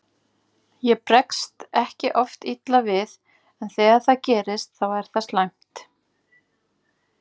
Ég bregst ekki oft illa við en þegar það gerist þá er það slæmt.